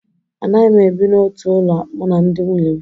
Anaghị m ebi n'otu ụlọ mụ na ndị nwunye m